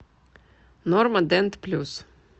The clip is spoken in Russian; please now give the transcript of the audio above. норма дент плюс